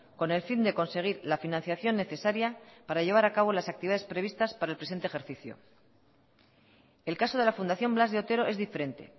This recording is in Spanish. con el fin de conseguir la financiación necesaria para llevar a cabo las actividades previstas para el presente ejercicio el caso de la fundación blas de otero es diferente